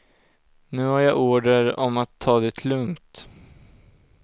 Nu har jag order om att ta det lugnt.